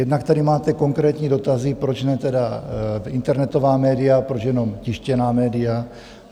Jednak tady máte konkrétní dotazy, proč ne tedy internetová média, proč jenom tištěná média.